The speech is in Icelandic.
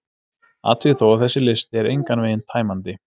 Athugið þó að þessi listi er engan veginn tæmandi: